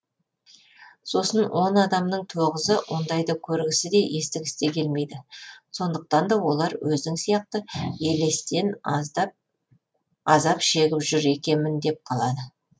сосын он адамның тоғызы ондайды көргісі де естігісі де келмейді сондықтан да олар өзің сияқты елестен азап шегіп жүр екенмін деп қалады